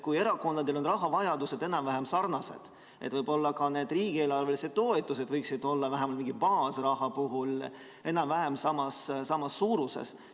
Kui erakondadel on rahavajadused enam-vähem sarnased, siis võib-olla ka need riigieelarvelised toetused võiksid olla vähemalt mingi baasraha puhul enam-vähem samas suuruses.